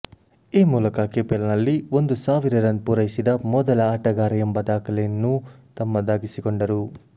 ಈ ಮೂಲಕ ಕೆಪಿಎಲ್ನಲ್ಲಿ ಒಂದು ಸಾವಿರ ರನ್ ಪೂರೈಸಿದ ಮೊದಲ ಆಟಗಾರ ಎಂಬ ದಾಖಲೆಯನ್ನೂ ತಮ್ಮದಾಗಿಸಿಕೊಂಡರು